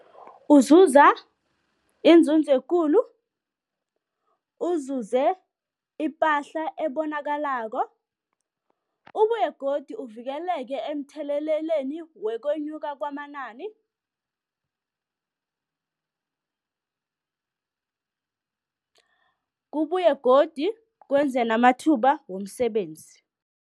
Uzuza iinzunzo ekulu, uzuze ipahla ebonakalako, ubuye godu uvikeleke emtheleleleni wokwenyuka kwamanani, kubuye godu kwenze namathuba womsebenzi.